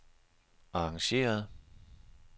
arrangeret